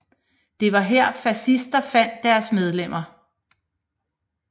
Det var her fascister fandt deres medlemmer